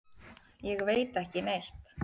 Ég veit ekki neitt.